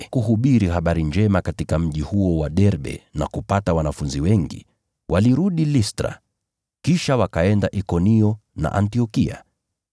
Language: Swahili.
Wakahubiri habari njema katika mji huo na kupata wanafunzi wengi. Kisha wakarudi Listra, Ikonio na Antiokia,